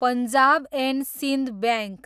Punjab and Sindh bank